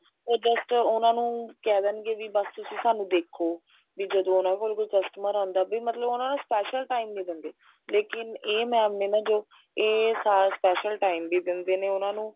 ਉਹ just ਉਹਨਾ ਨੂੰ ਕਹਿ ਦੇਣਗੇ ਵੀ ਬੱਸ ਤੁਸੀਂ ਸਾਨੂੰ ਦੇਖੋ ਵੀ ਜਦੋਂ ਉਹਨਾ ਕੋਲ ਕੋਈ customer ਆਂਦਾ ਵੀ ਉਹ ਉਹਨਾ ਨੂੰ special time ਨਹੀਂ ਦਿੰਦੇ ਲੇਕਿਨ ਇਹ ma'am ਨੇ ਨਾ ਜੋ ਇਹ special time ਵੀ ਦਿੰਦੇ ਨੇ ਉਹਨਾ ਨੂੰ